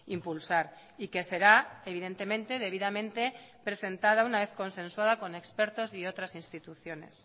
impulsar y que será evidentemente debidamente presentada una vez consensuada con expertos y otras instituciones